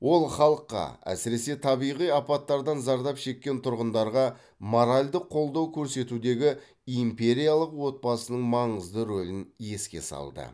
ол халыққа әсіресе табиғи апаттардан зардап шеккен тұрғындарға моральдық қолдау көрсетудегі империялық отбасының маңызды рөлін еске салды